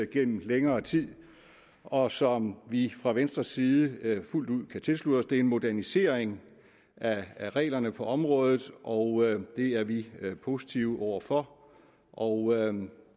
gennem længere tid og som vi fra venstres side fuldt ud kan tilslutte os det er en modernisering af reglerne på området og det er vi positive over for og